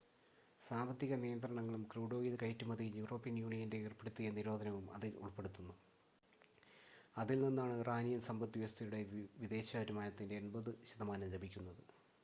സാമ്പത്തിക നിയന്ത്രണങ്ങളും crude oil കയറ്റുമതിയിൽ യൂറോപ്യൻ യൂണിയൻ ഏർപ്പെടുത്തിയ നിരോധനവും ഇതിൽ ഉൾപ്പെടുന്നു അതിൽ നിന്നാണ് ഇറാനിയൻ സമ്പദ്‌വ്യവസ്ഥയുടെ വിദേശ വരുമാനത്തിൻ്റെ 80% ലഭിക്കുന്നത്